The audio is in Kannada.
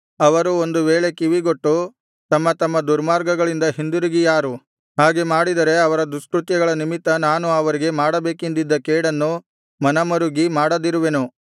ಅವರು ಒಂದು ವೇಳೆ ಕಿವಿಗೊಟ್ಟು ತಮ್ಮ ತಮ್ಮ ದುರ್ಮಾರ್ಗಗಳಿಂದ ಹಿಂದಿರುಗಿಯಾರು ಹಾಗೆ ಮಾಡಿದರೆ ಅವರ ದುಷ್ಕೃತ್ಯಗಳ ನಿಮಿತ್ತ ನಾನು ಅವರಿಗೆ ಮಾಡಬೇಕೆಂದಿದ್ದ ಕೇಡನ್ನು ಮನಮರುಗಿ ಮಾಡದಿರುವೆನು